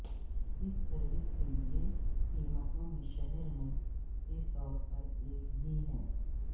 اس service کے لئے قیمتوں میں شہر میں کے طور پر ایک ہی ہیں